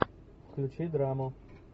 включи драму